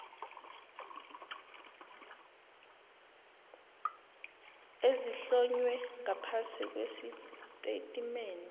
ezihlonywe ngaphasi kwesitatimende